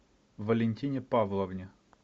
валентине павловне